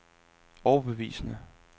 overbevisende